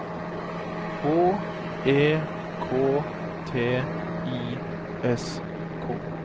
H E K T I S K